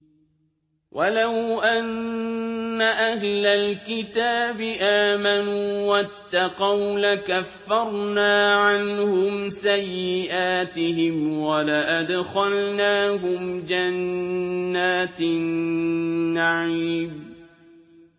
وَلَوْ أَنَّ أَهْلَ الْكِتَابِ آمَنُوا وَاتَّقَوْا لَكَفَّرْنَا عَنْهُمْ سَيِّئَاتِهِمْ وَلَأَدْخَلْنَاهُمْ جَنَّاتِ النَّعِيمِ